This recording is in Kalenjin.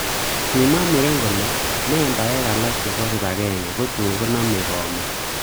Kimwa muren kole membaek alak chebo kibagenge kutun konome komon.